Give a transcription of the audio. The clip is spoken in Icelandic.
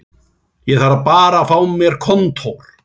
Ég þarf bara að fá mér kontór